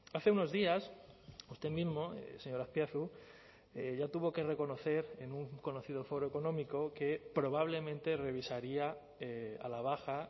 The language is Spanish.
hace unos días usted mismo señor azpiazu ya tuvo que reconocer en un conocido foro económico que probablemente revisaría a la baja